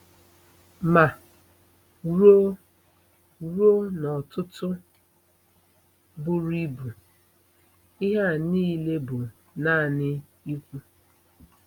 Ma, ruo, ruo n'ọ̀tụ̀tụ̀ buru ibu, ihe a nile bụ nanị ikwu.